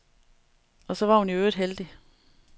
Og så var hun i øvrigt heldig.